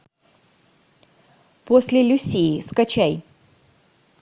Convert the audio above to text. после люсии скачай